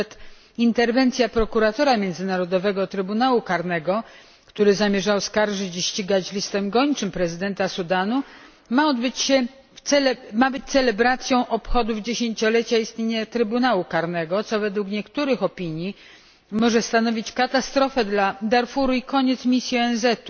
Nawet interwencja prokuratora Międzynarodowego Trybunału Karnego, który zamierzał oskarżyć i ścigać listem gończym prezydenta Sudanu, ma być celebracją obchodów dziesięciolecia istnienia Trybunału Karnego, co według niektórych opinii może stanowić katastrofę dla Darfuru i koniec misji ONZ.